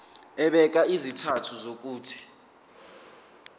ebeka izizathu zokuthi